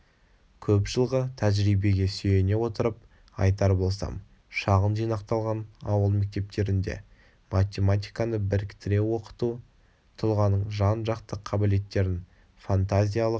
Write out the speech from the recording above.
көп жылғы тәжірибеге сүйене отырып айтар болсам шағын жинақталған ауыл мектептерінде математиканы біріктіре оқыту тұлғаның жан-жақты қабілеттерін фантазиялық